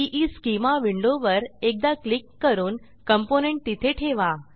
ईस्केमा विंडोवर एकदा क्लिक करून कॉम्पोनेंट तिथे ठेवा